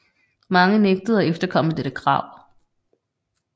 Mange nægtede at efterkomme dette krav